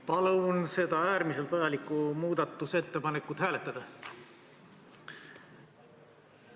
Palun seda äärmiselt vajalikku muudatusettepanekut hääletada!